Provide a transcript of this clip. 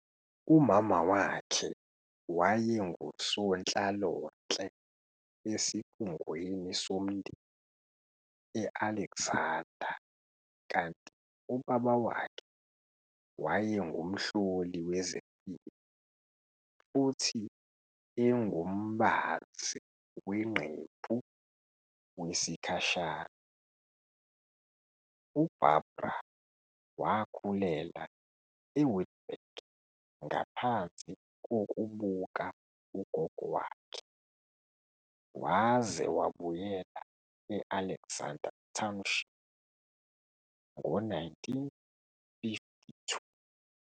Umama wakhe wayengusonhlalonhle esikhungweni somndeni e-Alexander kanti ubaba wakhe wayengumhloli wezempilo futhi engumbazi wengqephu wesikhashana. UBarbara wakhulela eWitbank ngaphansi kokubuka ugogo wakhe, waze wabuyela e-Alexander Township ngo-1952.